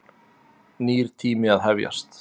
Nýr tími að hefjast.